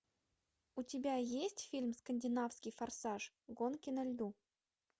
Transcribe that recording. у тебя есть фильм скандинавский форсаж гонки на льду